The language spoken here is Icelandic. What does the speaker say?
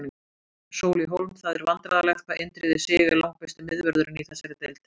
Sóli Hólm Það er vandræðalegt hvað Indriði Sig er langbesti miðvörðurinn í þessari deild.